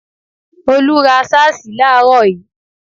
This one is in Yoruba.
Olú ra sáàsì láààrò í